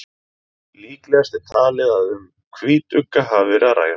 líklegast er talið að um hvítugga hafi verið að ræða